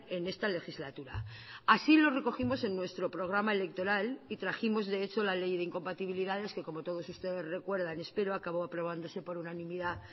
en esta legislatura así lo recogimos en nuestro programa electoral y trajimos de hecho la ley de incompatibilidades que como todos ustedes recuerdan espero acabó aprobándose por unanimidad